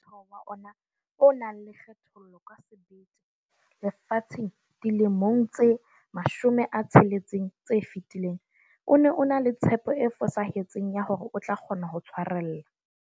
Ha mmuso wa kgethollo o ne o bapatsa Molaotheo wa ona o nang le kgethollo ka sebete lefatsheng dilemong tse 60 tse fetileng, o ne o ena le tshepo e fosahetseng ya hore o tlo kgona ho tshwarella.